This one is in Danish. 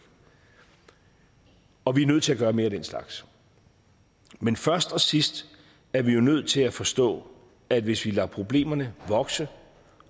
og vi er nødt til at gøre mere af den slags men først og sidst er vi jo nødt til at forstå at hvis vi lader problemerne vokse